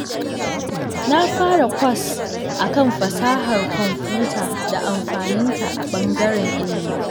Na fara kwas a kan fasahar kwamfuta da amfaninta a ɓangaren ilimi.